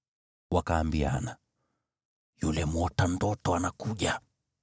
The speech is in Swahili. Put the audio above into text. Wakaambiana, “Yule mwota ndoto anakuja!